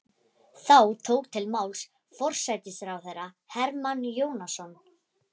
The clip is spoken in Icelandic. Þá tók til máls forsætisráðherra Hermann Jónasson.